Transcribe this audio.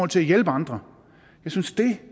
til at hjælpe andre jeg synes det